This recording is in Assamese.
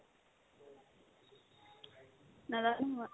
নাজানো মই